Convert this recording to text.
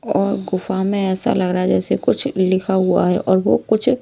और गुफा में ऐसा लग रहा है जैसे कुछ लिखा हुआ है और वह कुछ---